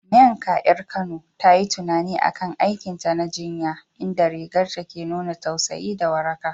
Nneka, 'yar Kano, ta yi tunani a kan aikinta na jinya, inda rigar ta ke nuna tausayi da waraka.